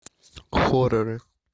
хорроры